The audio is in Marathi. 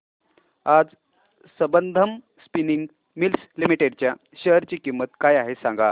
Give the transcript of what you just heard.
आज संबंधम स्पिनिंग मिल्स लिमिटेड च्या शेअर ची किंमत काय आहे हे सांगा